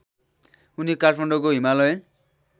उनी काठमाडौँको हिमालयन